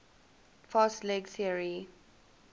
fast leg theory